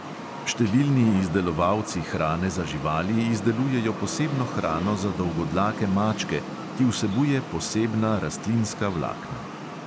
Številni izdelovalci hrane za živali izdelujejo posebno hrano za dolgodlake mačke, ki vsebuje posebna rastlinska vlakna.